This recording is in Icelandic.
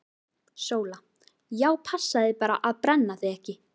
SÓLA: Já, passaðu þig bara að brenna þig ekki!